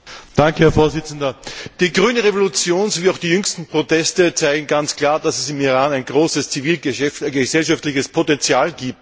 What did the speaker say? Herr Präsident! Die grüne Revolution sowie auch die jüngsten Proteste zeigen ganz klar, dass es im Iran ein großes zivilgesellschaftliches Potenzial gibt.